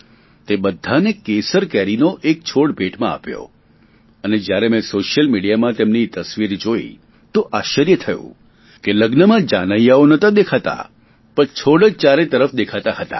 તે બધાને કેસર કેરી નો એક છોડ ભેટમાં આપ્યો અને જ્યારે મેં સોશિયલ મિડીયામાં તેમની તસવીર જોઈ તો આશ્ચર્ય થયું કે લગ્નમાં જાનૈયાઓ નહોતા દેખાતા પણ છોડ જ ચારે તરફ દેખાતા હતા